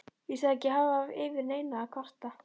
Ég sagðist ekki hafa yfir neinu að kvarta.